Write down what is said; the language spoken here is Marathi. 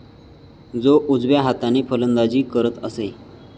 तो उजव्या हाताने फलंदाजी करत असे.